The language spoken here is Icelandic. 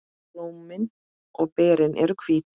Blómin og berin eru hvít.